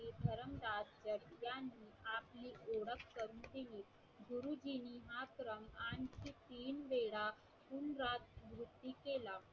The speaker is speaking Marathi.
आणखी तीन वेळा